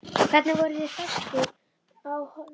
Hvernig voru þeir festir á orfin?